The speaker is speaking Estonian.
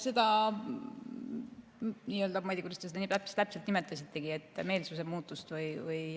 Seda – ma ei tea, kuidas te seda täpselt nimetasitegi – meelsuse muutust või